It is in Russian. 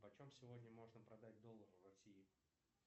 почем сегодня можно продать доллар в россии